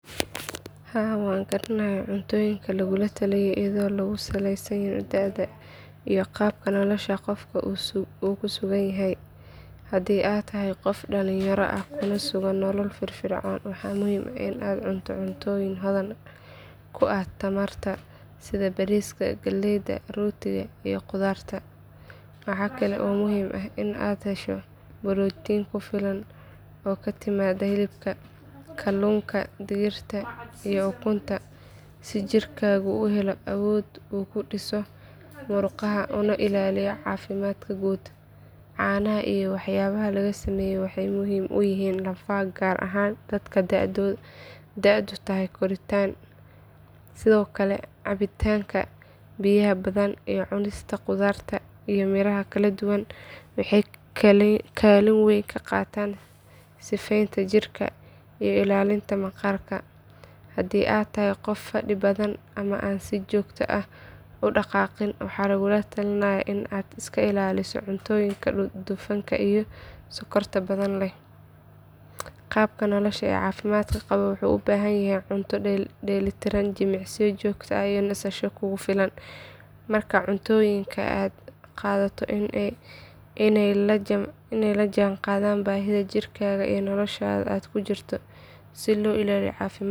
Haa waan garanayaa cuntooyinka lagugula taliyo iyadoo lagu saleynayo da’da iyo qaabka nolosha qofku ku sugan yahay. Haddii aad tahay qof dhalinyaro ah kuna sugan nolol firfircoon waxaa muhiim ah in aad cunto cuntooyin hodan ku ah tamarta sida bariiska, galleyda, rootiga iyo khudaarta. Waxaa kale oo muhiim ah inaad hesho borotiin ku filan oo ka timaadda hilibka, kalluunka, digirta iyo ukunta si jidhkaagu u helo awood uu ku dhiso murqaha una ilaaliyo caafimaadka guud. Caanaha iyo waxyaabaha laga sameeyo waxay muhiim u yihiin lafaha gaar ahaan dadka da’doodu tahay koritaan. Sidoo kale cabitaanka biyaha badan iyo cunista khudaarta iyo miraha kala duwan waxay kaalin weyn ka qaataan sifeynta jirka iyo ilaalinta maqaarka. Haddii aad tahay qof fadhi badan ama aan si joogto ah u dhaqaaqin waxaa lagugula talinayaa in aad iska ilaaliso cuntooyinka dufanka iyo sokorta badan leh. Qaabka nolosha caafimaad qaba wuxuu u baahan yahay cunto dheellitiran, jimicsi joogto ah iyo nasasho kugu filan. Markaa cuntooyinka aad qaadato waa inay la jaanqaadaan baahida jidhkaaga iyo nolosha aad ku jirto si loo ilaaliyo caafimaad.